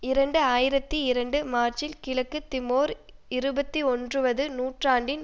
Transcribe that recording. இரண்டு ஆயிரத்தி இரண்டு மார்ச்சில் கிழக்கு திமோர் இருபத்தி ஒன்றுவது நூற்றாண்டின்